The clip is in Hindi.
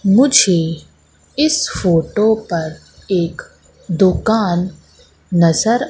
मुझे इस फोटो पर एक दुकान नजर--